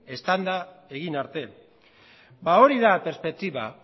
eztanda egin arte ba hori da perspektiba